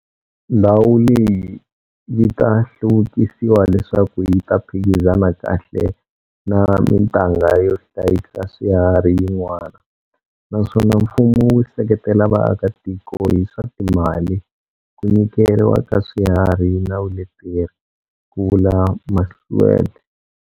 Ndhawu leyi yi ta hluvukisiwa leswaku yi ta phikizana kahle na mitanga yo hlayisa swiharhi yin'wana, naswona mfumo wu seketela vaakatiko hi swa timali, ku nyikeriwa ka swiharhi na vuleteri, ku vula Masualle.